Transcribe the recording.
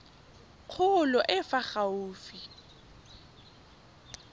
kgolo e e fa gaufi